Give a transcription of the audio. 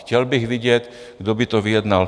Chtěl bych vidět, kdo by to vyjednal.